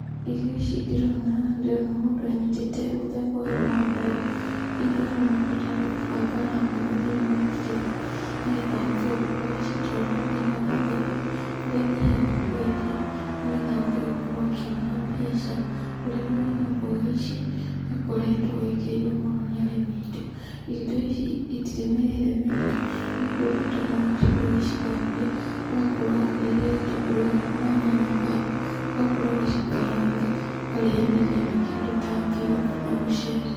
Irio ici ndĩrona haha ndĩrona mũndũ anyitĩte muthemba ũyũ wa mboga, iria aroneka ta arĩ gũbanga arabanga thĩinĩ wa kirĩti, ni getha ahote gũkorwo agĩcitwara thĩ-inĩ wa thoko, kũrĩa athiaga kwendia, ni getha ahote gũkorwo akiona mbeca. Ũrĩmi ũyũ wa mboga ici nĩukoretwo wĩkĩrĩirwo mũno ni arĩmi aitũ. Irio ta ici itirĩ mĩrĩre mĩritu, nĩ gũkorwo bata no ũkorwo ũgĩcithambia, ũgakorwo ũharĩirie gĩtũngũrũ gĩaku na nyanya kando, ugakorwo ũgĩcikaranga, ukarĩanĩria na kĩndũ ta ngima kana mucere.